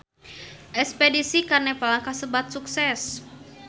Espedisi ka Nepal kasebat sukses